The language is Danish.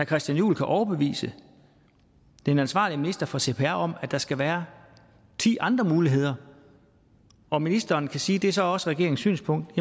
christian juhl kan overbevise den ansvarlige minister for cpr om at der skal være ti andre muligheder og ministeren siger at det så er også regeringens synspunkt